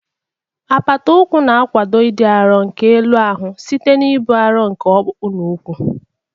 Apata ụkwụ na-akwado ịdị arọ nke elu ahụ site n'ibu arọ nke ọkpụkpụ na ụkwụ.